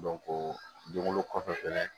don kolo kɔfɛ fɛnɛ